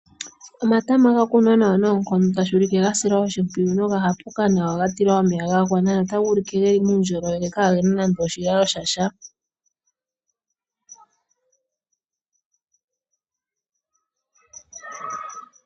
Omatama ga kunwa nawa noonkondo tashi ulike ga silwa oshimpwiyu noga hapuka nawa ga tilwa omeya ga gwana notaga ulike geli muundjolowele kaagena nande oshilalo sha sha.